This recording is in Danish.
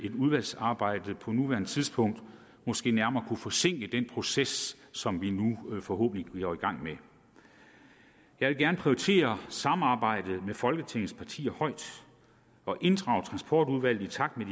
et udvalgsarbejde på nuværende tidspunkt måske nærmere kunne forsinke den proces som vi nu forhåbentlig går i gang med jeg vil gerne prioritere samarbejdet med folketingets partier højt og inddrage transportudvalget i takt med